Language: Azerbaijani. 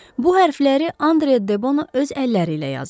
Bu hərfləri Andre Debono öz əlləri ilə yazıb.